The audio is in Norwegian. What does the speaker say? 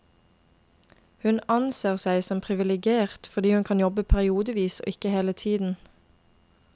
Hun anser seg som privilegert, fordi hun kan jobbe periodevis og ikke hele tiden.